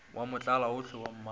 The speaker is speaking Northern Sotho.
wa motlalaohle yo mmagwe e